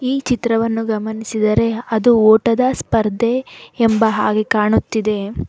ಈ ಚಿತ್ರವನ್ನು ಗಮನಿಸಿದರೆ ಅದು ಓಟದ ಸ್ಪರ್ಧೆ ಎಂಬ ಹಾಗೆ ಕಾಣುತ್ತಿದೆ.